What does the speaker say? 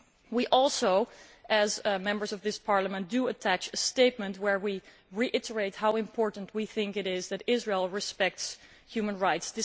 We also, as Members of this Parliament, attach a statement where we reiterate how important we think it is that Israel respect human rights.